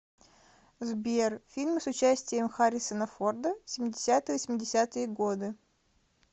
сбер фильмы с участием харрисона форда семидесятые восемьдесятые годы